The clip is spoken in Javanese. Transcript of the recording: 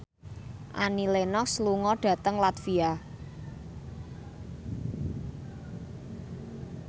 Annie Lenox lunga dhateng latvia